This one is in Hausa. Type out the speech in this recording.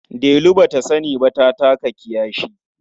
Delu ba ta sani ba ta taka kiyashi.